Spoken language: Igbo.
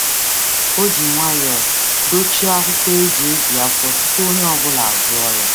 Ọ jiri nwayọọ um dochie akwụkwọ igwe nbipụta tupu onye ọ bụla arịọ.